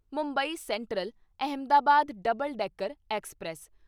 Mumbai central Ahmedabad double decker express